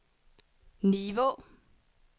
Nivå